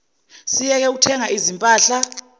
siyeke ukuthenga izimpahla